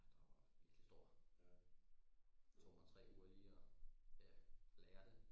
Ja der var virkelig stor tog mig tre uger lige og ja lære det